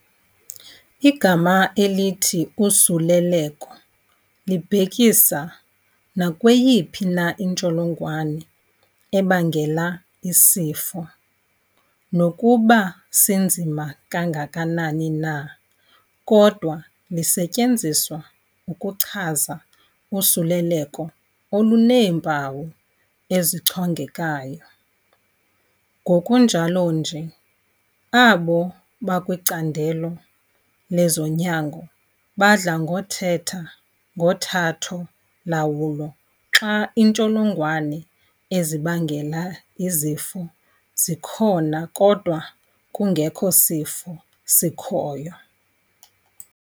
Igama elithi "usuleleko" libhekisa nakweyiphi na intsholongwane ebangela isifo, nokuba sinzima kangakanani na kodwa lisetyenziswa ukuchaza usuleleko oluneempawu ezichongekayo. Kunjalonje, abo bakwicandelo lezonyango badla ngokuthetha ngothatho-lawulo xa iintsholongwane ezibangela izifo zikhona kodwa kungekho sifo sikhoyo.